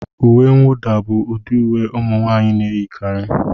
Uwe nwuda bụ ụdị uwe ụmụ nwanyị na-eyikarị